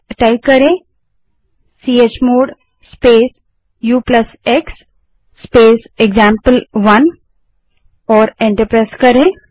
अब चमोड़ space ux space example one type करें और एंटर दबायें